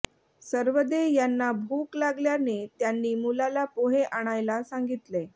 सरवदे यांना भूक लागल्याने त्यांनी मुलाला पोहे आणायला सांगितले